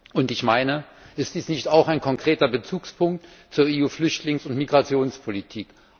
Und ist dies nicht auch ein konkreter Bezugspunkt zur EU Flüchtlings und Migrationspolitik?